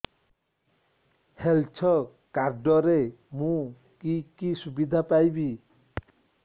health card ରେ ମୁଁ କି କି ସୁବିଧା ପାଇବି